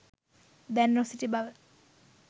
දැන නොසිටි බව